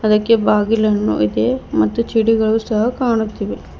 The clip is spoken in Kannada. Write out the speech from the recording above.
ಅದಕ್ಕೆ ಬಾಗಿಲನ್ನು ಇದೆ ಮತ್ತೆ ಚಡಿಗಳು ಸಹ ಕಾಣುತ್ತಿವೆ.